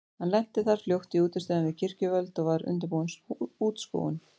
Hann lenti þar fljótt í útistöðum við kirkjuvöld og var undirbúin útskúfun.